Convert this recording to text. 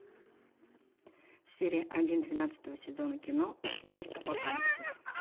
серия один двенадцатого сезона кино а теперь апокалипсис